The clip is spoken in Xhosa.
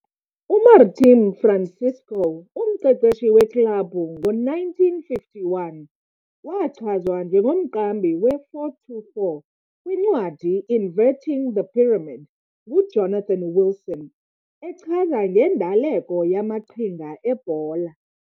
UMartim Francisco, umqeqeshi weklabhu ngo-1951, Umqeqeshi weklabhu ngo-1951, wachazwa njengomqambi we-4-2-4 kwincwadi 'Inverting The Pyramid' nguJonathan Wilson, echaza ngendaleko yamaqhinga ebhola.